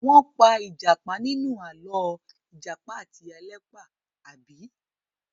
Wọ́n pa ìjàpá nínú àlọ́ "Ìjàpá àti Ìyá Ẹlẹ́pà", àbí?